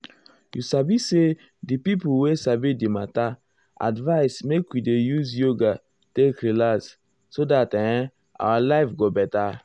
you sabi say di um pipo wey um sabi di matter advise make we dey use yoga take relax so dat ehm our life go beta.